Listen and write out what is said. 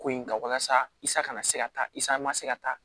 Ko in kan walasa isa kana se ka taa isan ma se ka taa